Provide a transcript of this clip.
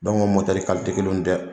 Dɔnku ka Dɔnku mɔtɛri kalite kelen tɛ!